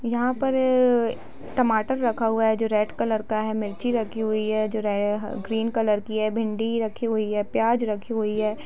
यहाँ पर अ-टमाटर रखा हुआ है जो रेड कलर का है मिर्ची रखी हुई है जो रे-ग्रीन कलर की है भिन्डी रखी हुई है प्याज रखी हुई है।